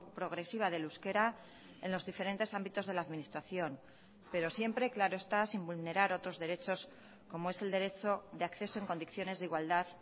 progresiva del euskera en los diferentes ámbitos de la administración pero siempre claro está sin vulnerar otros derechos como es el derecho de acceso en condiciones de igualdad